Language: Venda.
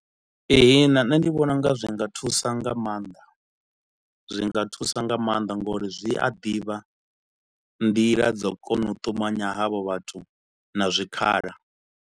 Ee nṋe ndi vhona unga zwi nga thusa nga maanḓa zwi nga thusa nga maanḓa ngori zwi a ḓivha nḓila dzo kona u ṱumanya havho vhathu na zwikhala